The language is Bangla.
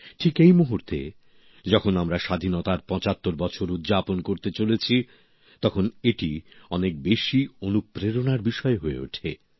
ঠিক এই মুহূর্তে যখন আমরা স্বাধীনতার ৭৫ বছর উদযাপন করতে চলেছি তখন এটি অনেক বেশি অনুপ্রেরণার বিষয় হয়ে ওঠে